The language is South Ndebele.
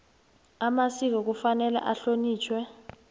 amasiko kufanele ahlonitjhwe